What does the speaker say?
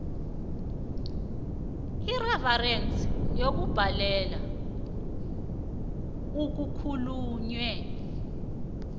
yereferensi yokubhadela okukhulunywe